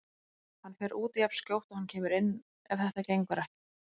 Hann fer út jafnskjótt og hann kemur inn ef þetta gengur ekki.